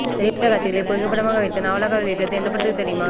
திரைப்பட காட்சிகளை புகைப்படமாக வைத்து நாவலாக வெளியிட்டது என்ன படத்துக்கு தெரியுமா